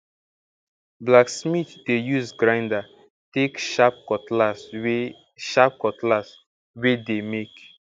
blacksmith dey use grinder take sharp cutlass wey sharp cutlass wey dey make